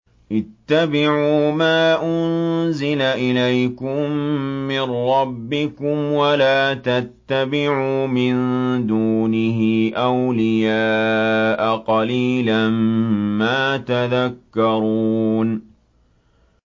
اتَّبِعُوا مَا أُنزِلَ إِلَيْكُم مِّن رَّبِّكُمْ وَلَا تَتَّبِعُوا مِن دُونِهِ أَوْلِيَاءَ ۗ قَلِيلًا مَّا تَذَكَّرُونَ